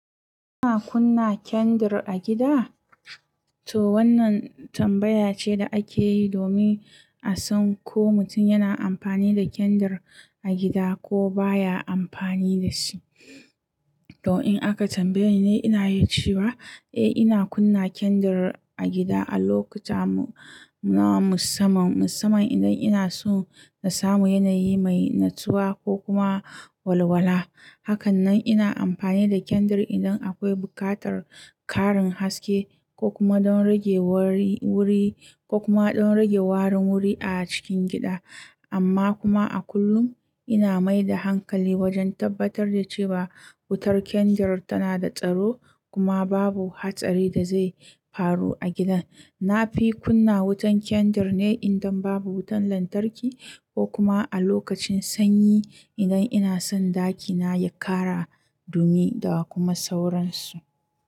Ana kunna kendir a gida? To wannan tambaya ce da ake yi domin a san ko mutum yana amfani da kendir a gida ko baya amfani da shi. To in aka tambaye ni, ina iya cewa eh ina kunna kendir a gida a lokuta musamman. Musamman idan ina so na samu yanayi mai natsuwa ko kuma walwala. Hakanan ina amfani da kendir idan akwai buƙatar ƙarin haske ko kuma dan ragewar wuri-- kuma don rage warin wuri a cikin gida. Amma kuma a kullum ina mai da hankali wajen tabbatar da cewa wutar kendir tana da tsaro kuma babu hatsari da zai faru a gidan. Na fi kunna wutan kendir ne idan babu wutan lantarki ko kuma a lokacin sanyi idan ina son ɗakina ya ƙara dumi da kuma sauransu.